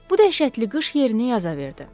Bu dəhşətli qış yerini yaza verdi.